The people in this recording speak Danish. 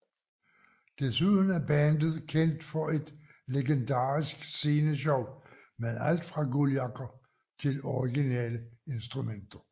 Desuden er bandet kendt for et legendarisk sceneshow med alt fra guldjakker til originale instrumenter